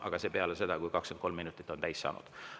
Aga seda peale seda, kui 23 minutit on täis saanud.